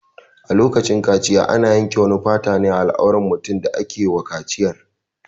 A lokacin kaciya ana yanke wani fata ne a al'auran mutumin da ake wa kaciyar.